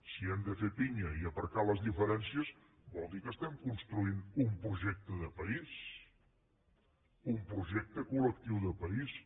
si hem de fer pinya i aparcar les diferències vol dir que construïm un projecte de país un projecte col·lectiu de país